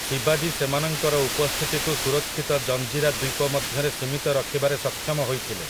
ଶିବାଜୀ ସେମାନଙ୍କର ଉପସ୍ଥିତିକୁ ସୁରକ୍ଷିତ ଜଞ୍ଜିରା ଦ୍ୱୀପ ମଧ୍ୟରେ ସୀମିତ ରଖିବାରେ ସକ୍ଷମ ହୋଇଥିଲେ ।